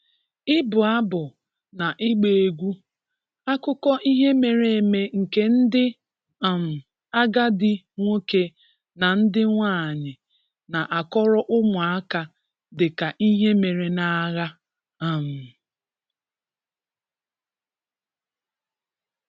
Ịbụ abụ na ịgba egwu, akụkọ ihe mere eme nke ndị um agadi nwoke na ndị nwanyị na-akọrọ ụmụaka dị ka ihe mere n’agha um